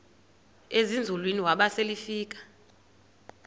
ezinzulwini waba selefika